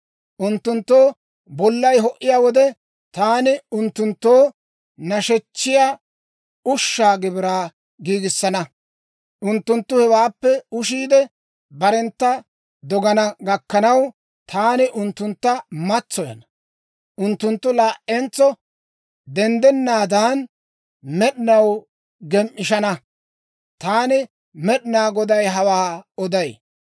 Unttunttoo bollay ho"iyaa wode, taani unttunttoo nashechchiyaa ushshaa gibiraa giigissana; unttunttu hewaappe ushiide, barentta dogana gakkanaw, taani unttuntta matsoyana. Unttunttu laa"entso denddennaadan, med'inaw gem"ishana. Taani Med'inaa Goday hawaa oday.